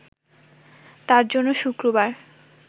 তার জন্য শুক্রবার